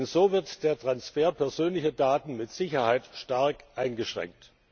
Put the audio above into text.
Denn so wird der Transfer persönlicher Daten mit Sicherheit stark eingeschränkt.